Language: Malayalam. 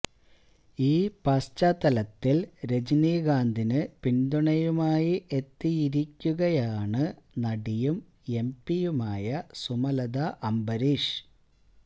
ഈ പശ്ചാത്തലത്തില് രജനീകാന്തിന് പിന്തുണയുമായി എത്തിയിരിക്കുകയാണ് നടിയും എം പിയുമായ സുമലത അംബരീഷ്